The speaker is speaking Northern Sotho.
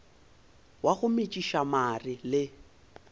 wa go metšiša mare le